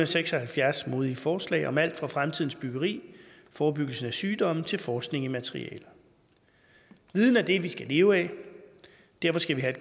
seks og halvfjerds modige forslag om alt fra fremtidens byggeri forebyggelse af sygdomme til forskning i materialer viden er det vi skal leve af derfor skal vi have